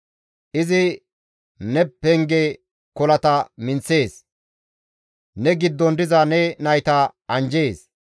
Izi ne penge kolata minththees; ne giddon diza ne nayta anjjees.